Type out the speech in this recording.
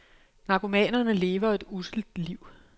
Narkomanerne lever et usselt liv.